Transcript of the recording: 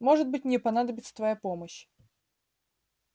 может быть мне понадобится твоя помощь